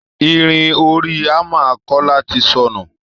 Irin orí hammer Kọ́lá ti sọnù